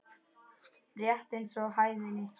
Rétt eins og hæðni.